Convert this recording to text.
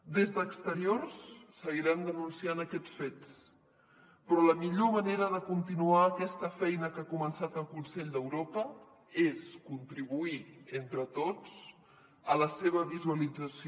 des d’exteriors seguirem denunciant aquests fets però la millor manera de continuar aquesta feina que ha començat el consell d’europa és contribuir entre tots a la seva visualització